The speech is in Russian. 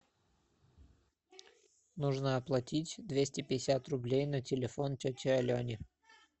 нужно оплатить двести пятьдесят рублей на телефон тете алене